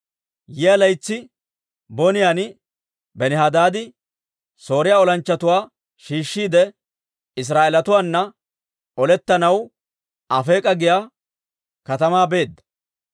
Yiyaa laytsi boniyaan Benihadaadi Sooriyaa olanchchatuwaa shiishshiide, Israa'eelatuwaana olettanaw Afeek'a giyaa katamaa beedda.